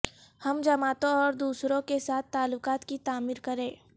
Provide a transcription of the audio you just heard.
ہم جماعتوں اور دوسروں کے ساتھ تعلقات کی تعمیر کریں